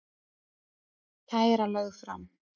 Kæra lögð fram